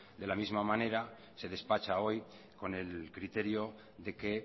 de la misma manera se despacha hoy con el criterio de que